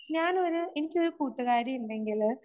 ഞാനൊരു, എനിക്കൊരു കൂട്ടുകാരി ഇണ്ടെങ്കില്